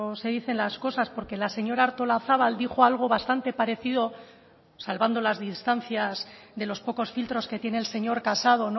se dicen las cosas porque la señora artolazabal dijo algo bastante parecido salvando las distancias de los pocos filtros que tiene el señor casado